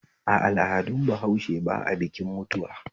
A al'adun bahaushe ba a bikin mutuwa